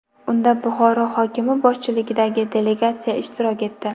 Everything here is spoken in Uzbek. Unda Buxoro hokimi boshchiligidagi delegatsiya ishtirok etdi.